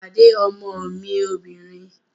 Pàdé ọmọ mi obìnrin!